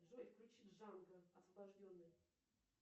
джой включи джанго освобожденный